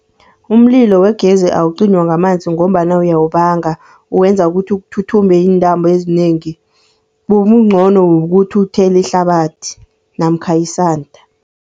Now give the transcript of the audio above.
Umlilo wegezi awucinywa ngamanzi ngombana uyawubanga, uwenza ukuthi kuthuthumbe iintambo ezinengi, okuncono kukuthi uthele ihlabathi namkha isanda.